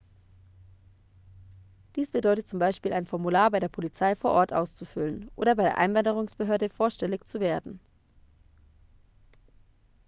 dies bedeutet zum beispiel ein formular bei der polizei vor ort auszufüllen oder bei der einwanderungsbehörde vorstellig zu werden